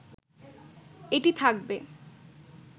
এটি থাকবে